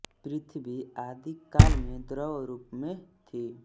पृथ्वी आदि काल में द्रव रूप में थी